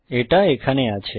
এটা এখানে আছে